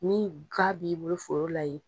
Ni ga b'i bolo foro la ye